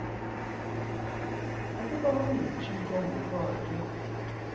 ukuba unguthixo ngokwakhe